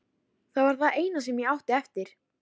Það var það eina sem ég átti eftir.